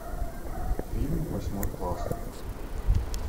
фильм восьмой класс